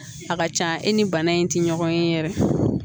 A ka ca e ni bana in ti ɲɔgɔn ye yɛrɛ